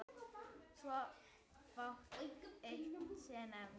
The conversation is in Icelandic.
Svo fátt eitt sé nefnt.